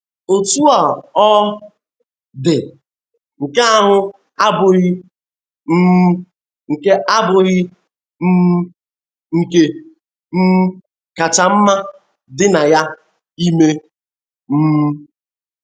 Otú ọ dị, nke ahụ abụghị um nke abụghị um nke um kacha mma dị na ya ime. um